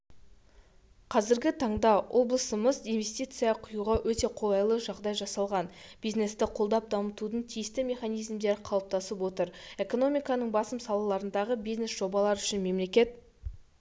қазіргі таңда облысымыздаинвестиция құюға өте қолайлыжағдай жасалған бизнесті қолдап дамытудың тиісті механизмдері қалыптасып отыр экономиканың басым салаларындағы бизнес-жобалар үшін мемлекет